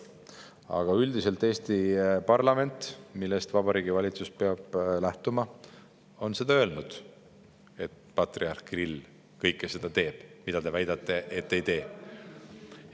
Aga üldiselt Eesti parlament, millest Vabariigi Valitsus peab lähtuma, on öelnud, et patriarh Kirill kõike seda teeb, mida teie väidate, et ta ei tee.